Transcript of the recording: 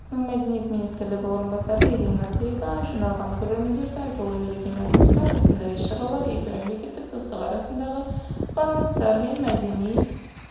белорусь республикасының мәдениет министрінің орынбасары ирина дрига жиналған көрермендерді айтулы мерекемен құттықтап осындай іс-шаралар екімемлекет арасындағы достық байланыстар менмәдени